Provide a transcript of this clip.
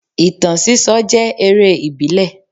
Ìtàn síso jẹ́ eré ìbílẹ̀